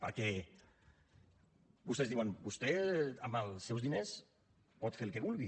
perquè vostès diuen vostè amb els seus diners pot fer el que vulgui